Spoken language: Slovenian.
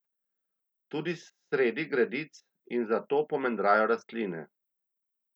Tudi sredi gredic in zato pomendrajo rastline.